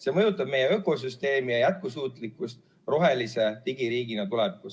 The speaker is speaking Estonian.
See mõjutab meie ökosüsteemi ja jätkusuutlikkust rohelise digiriigina tulevikus.